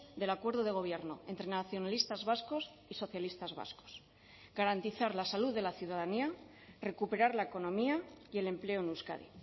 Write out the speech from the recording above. del acuerdo de gobierno entre nacionalistas vascos y socialistas vascos garantizar la salud de la ciudadanía recuperar la economía y el empleo en euskadi